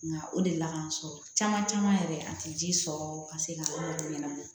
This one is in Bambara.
Nka o de la k'an sɔrɔ caman caman yɛrɛ a tɛ ji sɔrɔ ka se ka ɲɛnabɔ